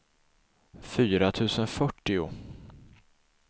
fyra tusen fyrtio